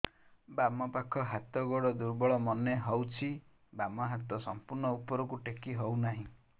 ବାମ ପାଖ ହାତ ଗୋଡ ଦୁର୍ବଳ ମନେ ହଉଛି ବାମ ହାତ ସମ୍ପୂର୍ଣ ଉପରକୁ ଟେକି ହଉ ନାହିଁ